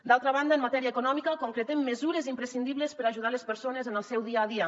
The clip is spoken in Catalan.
d’altra banda en matèria econòmica concretem mesures imprescindibles per ajudar les persones en el seu dia a dia